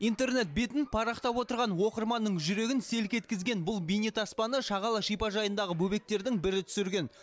интернет бетін парақтап отырған оқырманның жүрегін селк еткізген бұл бейнетаспаны шағала шипажайындағы бөбектердің бірі түсірген